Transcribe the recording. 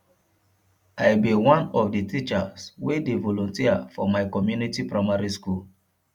i be one of the teachers wey dey volunteer for my community primary school